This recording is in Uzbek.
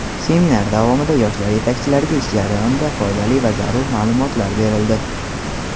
Seminar davomida yoshlar yetakchilariga ish jarayonida foydali va zarur ma’lumotlar berildi.